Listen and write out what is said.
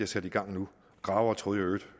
sat i gang nu gravere troede